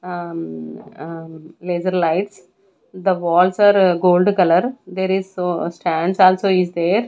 ahm ahm laser lights the walls are gold color there is so stands also is there.